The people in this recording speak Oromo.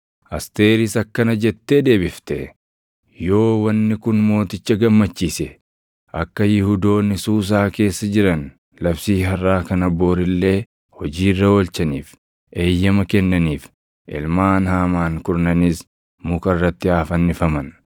Asteeris akkana jettee deebifte; “Yoo wanni kun mooticha gammachiise akka Yihuudoonni Suusaa keessa jiran labsii harʼaa kana bori illee hojii irra oolchaniif eeyyama kennaniif; ilmaan Haamaan kurnanis muka irratti haa fannifaman.”